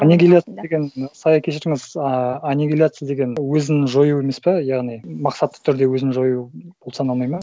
анигиляция деген сая кешіріңіз а анигиляция деген өзін жою емес па яғни мақсатты түрде өзін жою саналмайды ма